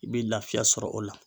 I bɛ lafiya sɔrɔ o la.